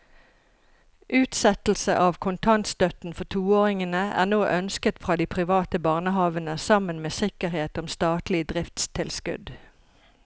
Utsettelse av kontantstøtten for toåringene er nå ønsket fra de private barnehavene sammen med sikkerhet om statlig driftstilskudd.